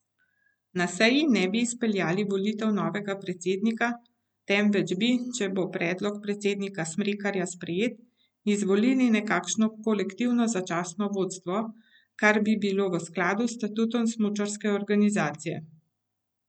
Na seji ne bi izpeljali volitev novega predsednika, temveč bi, če bo predlog predsednika Smrekarja sprejet, izvolili nekakšno kolektivno začasno vodstvo, kar bi bilo v skladu s statutom smučarske organizacije.